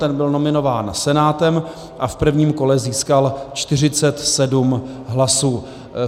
Ten byl nominován Senátem a v prvním kole získal 47 hlasů.